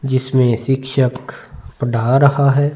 जिसमे शिक्षक पढ़ा रहा है।